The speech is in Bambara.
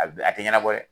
A bɛ a tɛ ɲɛnabɔ dɛ